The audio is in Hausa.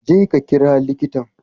Je ka kira likitan.